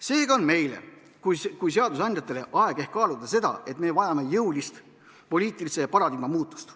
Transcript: Seega on meil kui seadusandjatel ehk aeg kaaluda seda, et me vajame jõulist poliitilise paradigma muutust.